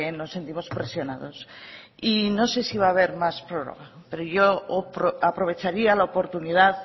nos sentimos presionados y no sé si va a haber más prórroga pero yo aprovecharía la oportunidad